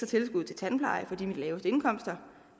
tilskud til tandpleje for de laveste indkomster